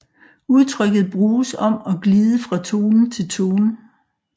Udtrykket bruges om at glide fra tone til tone